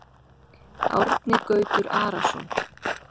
Árni Gautur Arason